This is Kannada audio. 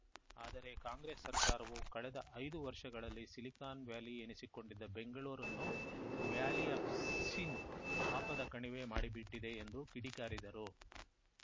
ಆದರೆ ಕಾಂಗ್ರೆಸ್‌ ಸರ್ಕಾರವು ಕಳೆದ ಐದು ವರ್ಷಗಳಲ್ಲಿ ಸಿಲಿಕಾನ್‌ ವ್ಯಾಲಿ ಎನಿಸಿಕೊಂಡಿದ್ದ ಬೆಂಗಳೂರನ್ನು ವ್ಯಾಲಿ ಆಪ್‌ ಸಿನ್‌ ಪಾಪದ ಕಣಿವೆ ಮಾಡಿಬಿಟ್ಟಿದೆ ಎಂದು ಕಿಡಿಕಾರಿದರು